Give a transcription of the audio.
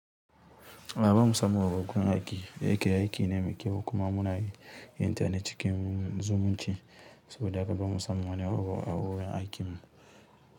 Ba mu san waƙoƙin aiki, yake aiki na mai kyau kuma muna yin ta na cikin zumunci saboda haka ba mu samu wani abu a wurin aikin mu.